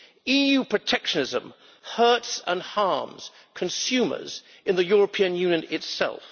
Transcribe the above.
EU protectionism hurts and harms consumers in the European Union itself.